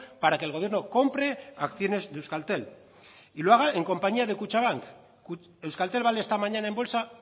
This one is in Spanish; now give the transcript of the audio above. para que el gobierno compre acciones de euskaltel y lo haga en compañía de kutxabank euskaltel vale esta mañana en bolsa